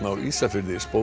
á Ísafirði